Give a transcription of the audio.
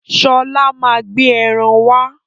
Sọlá máa gbé ẹran wá.